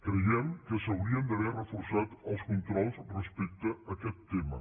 creiem que s’haurien d’haver reforçat els controls respecte a aquest tema